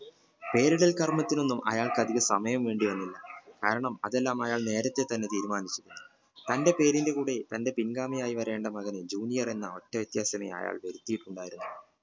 പേരിടൽ കര്മത്തിനോനും അയാൾക്കു അതികം സമയം വേണ്ടി വന്നില്ല കാരണം അതെല്ലാം അയാൾ എല്ലാം നേരത്തെ തന്നെ തീരുമാനിച്ചു തന്റെ പേരിന്റെ കൂടെ തന്റെ പിൻഗാമിയായി വരേണ്ട മകനെ junior എന്ന ഒറ്റവ്യത്യാസനെ അയാൾ വരുത്തിട്ടുണ്ടായിരുന്നു